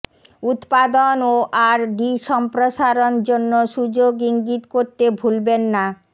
উৎপাদন ও R D সম্প্রসারণ জন্য সুযোগ ইঙ্গিত করতে ভুলবেন না